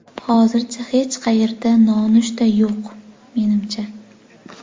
Hozir hech qayerda nonushta yo‘q, menimcha.